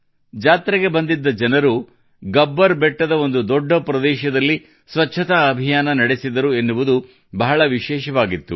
ಜಾತ್ರೆಗೆ ಬಂದಿದ್ದ ಜನರು ಗಬ್ಬರ್ ಬೆಟ್ಟದ ಒಂದು ದೊಡ್ಡ ಪ್ರದೇಶದಲ್ಲಿ ಸ್ವಚ್ಛತಾ ಅಭಿಯಾನ ನಡೆಸಿದರು ಎನ್ನುವುದು ಬಹಳ ವಿಶೇಷವಾಗಿತ್ತು